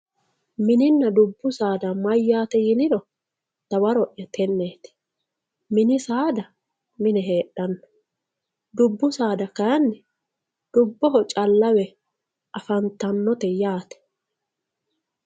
mininana dubbu saada mayaate yiniro dawaro'ya tenneti mini saada mine heexxanno dubu saada kaayiinni dubboho callawe afantanote yaate